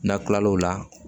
N'a kilal'o la